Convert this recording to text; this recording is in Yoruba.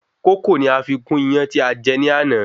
Kókò ni a fi gún iyán tí a jẹ ní àná